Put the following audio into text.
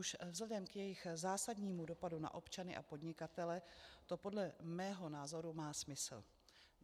Už vzhledem k jejich zásadnímu dopadu na občany a podnikatele to podle mého názoru má smysl.